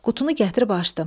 Qutunu gətirib açdım.